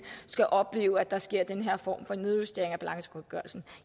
skal opleve at der sker den her form for nedjustering af balancegodtgørelsen